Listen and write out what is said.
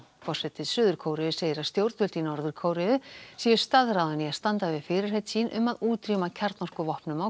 forseti Suður Kóreu segir að stjórnvöld í Norður Kóreu séu staðráðin í að standa við fyrirheit sín um að útrýma kjarnorkuvopnum á